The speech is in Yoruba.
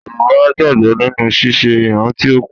Yoruba gbàgbọ́ nínu ṣíṣe ìrántí òkú.